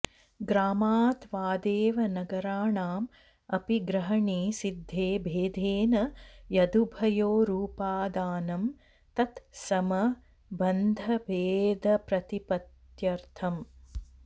ग्रामत्वादेव नगराणाम् अपि ग्रहणे सिद्धे भेदेन यदुभयोरुपादानं तत् सम्बन्धभेदप्रतिपत्त्यर्थम्